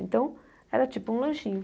Então era tipo um lanchinho.